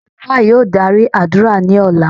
Alufa yóò dari adura ni ọla.